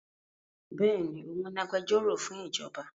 Béèni, òun ni agbẹjọ́rò fún ìjọba